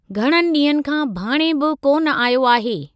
घणनि डीं॒हनि खां भाणे बि कोन आयो आहे।